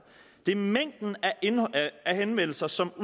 det er mængden af henvendelser som